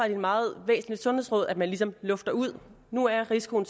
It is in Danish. et meget væsentligt sundhedsråd at man ligesom lufter ud nu er risikoen